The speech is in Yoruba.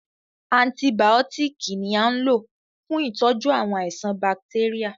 Antìbiótiiki ni a n lò fún ìtọ́jú àwọn àìsàn bacteria.